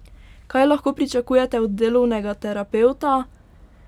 Kaj lahko pričakujete od delovnega terapevta?